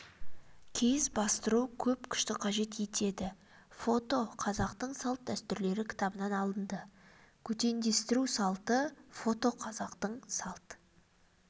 киіз бастыру көп күшті қажет етеді фото қазақтың салт-дәстүрлері кітабынан алынды көтендестіру салты фото қазақтың салт